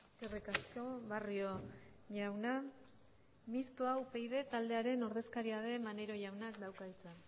eskerrik asko barrio jauna mistoa upyd taldearen ordezkaria den maneiro jaunak dauka hitza